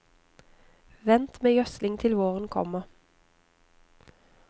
Vent med gjødsling til våren kommer.